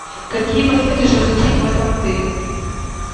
какие посоветуешь развлечения в этом отеле